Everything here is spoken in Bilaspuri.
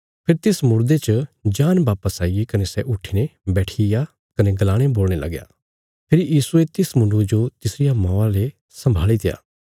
फेरी तिस मुड़दे च जान वापस आईगी कने सै उट्ठीने बैठिग्या कने गलाणे बोलणे लग्या फेरी यीशुये तिस मुण्डुये जो तिसरिया मौआ ले सम्भाल़ित्या